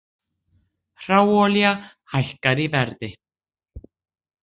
Hráolía hækkar í verði